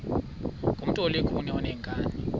ngumntu olukhuni oneenkani